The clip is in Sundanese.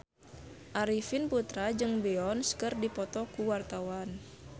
Arifin Putra jeung Beyonce keur dipoto ku wartawan